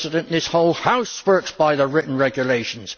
This whole House works by the written regulations!